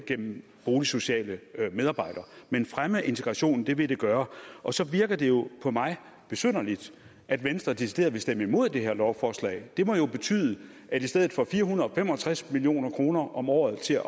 gennem boligsociale medarbejdere men fremme integrationen vil det gøre og så virker det jo på mig besynderligt at venstre decideret vil stemme imod det her lovforslag det må jo betyde at i stedet for fire hundrede og fem og tres million kroner om året til